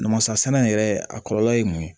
Namasasɛnɛ yɛrɛ a kɔlɔlɔ ye mun ye